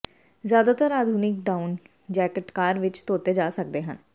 ਜ਼ਿਆਦਾਤਰ ਆਧੁਨਿਕ down jacket ਕਾਰ ਵਿੱਚ ਧੋਤੇ ਜਾ ਸਕਦੇ ਹਨ